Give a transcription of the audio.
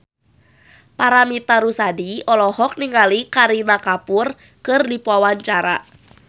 Paramitha Rusady olohok ningali Kareena Kapoor keur diwawancara